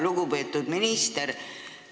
Lugupeetud minister!